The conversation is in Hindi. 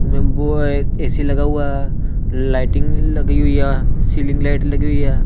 में वो ए_सी लगा हुआ लाइटिंग लगी हुई है सीलिंग लाइट लगी हुई है।